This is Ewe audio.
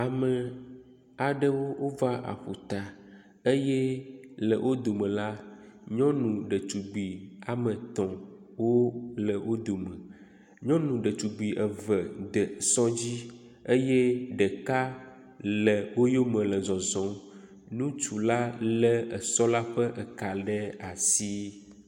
Ame aɖewo wova aƒuta eye le wo dome la, nyɔnu ɖetugbui woame etɔ̃ wole wo dome. Nyɔnu ɖetugbui eve wode esɔ dzi eye ɖeka le wo yome le zɔzɔm. Ŋutsu la lé esɔ la ƒe ka ɖe asi.